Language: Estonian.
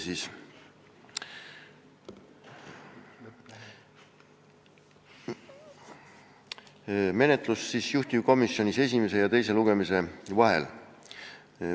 Natuke menetlusest juhtivkomisjonis esimese ja teise lugemise vahel.